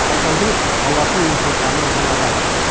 алтаудың алатын емтиханы мынадай